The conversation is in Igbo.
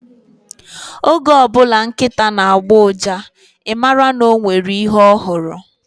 Oge ọbụla nkịta na-agbọ uja, I mara na o nwere ihe ọ hụrụ